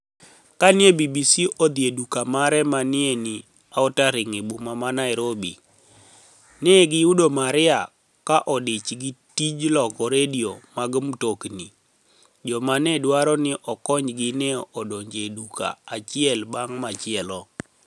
Ka ni e BBC odhi e duka mare ma ni e nii Outerinig eboma ma niairobi, ni e giyudo Maria ka odich gi tij loko redio mag mtoknii, to joma ni e dwaro nii okoniygi ni e donijo e duka achiel banig ' machielo.